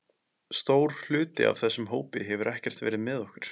Stór hluti af þessum hópi hefur ekkert verið með okkur.